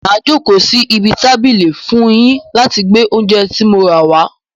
Màá jókòó sí ibi tábìlì fún un yín láti gbé oúnjẹ tí mo rà wàá.